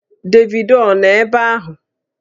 Davido ọ nọ ebe ahụ?